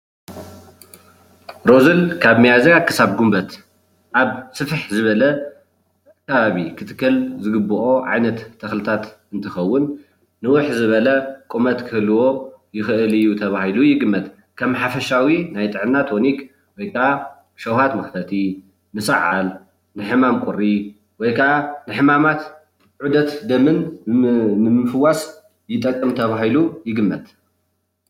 እዚ ካብ ሚያዝያ ክሳብ ጉንበት ኣብ ስፍሕ ዝበለ ከባቢ ንክትከል ዝግበኦ ዓይነት ተክልታት እንትከውን ንውሕ ዝበለ ቁመት ክህልዎ ይክእል እዩ ተባሂሉ ይግመት፡፡ ከም ሓፈሻዊ ናይ ጥዕና ግሎሪክ ወይ ከዓ ሽውሃት መክፈቲ ንሰዓል ንሕማም ቁሪ ወይ ካዓ ንሕማማት ዑደት ደምን ንምፍዋስ ይጠቅም ተባሂሉ ይግመት፡፡